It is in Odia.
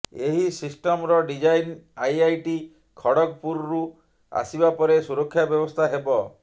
ଏହି ସିଷ୍ଟମ୍ର ଡିଜାଇନ୍ ଆଇଆଇଟି ଖଡଗପୁରରୁ ଆସିବା ପରେ ସୁରକ୍ଷା ବ୍ୟବସ୍ଥା ହେବ